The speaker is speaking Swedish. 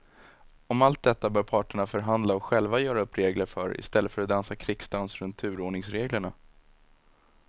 Om allt detta bör parterna förhandla och själva göra upp regler för i stället för att dansa krigsdans runt turordningsreglerna.